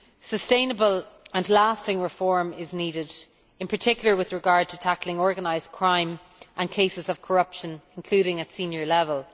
Sustainable and lasting reform is needed, in particular with regard to tackling organised crime and cases of corruption, including at senior level.